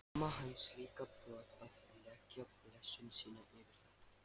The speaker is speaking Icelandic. Mamma hans líka brött að leggja blessun sína yfir þetta.